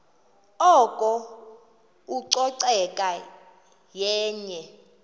oko ucoceko yenye